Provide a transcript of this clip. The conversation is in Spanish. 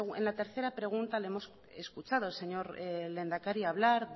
en la tercera pregunta le hemos escuchado al señor lehendakari hablar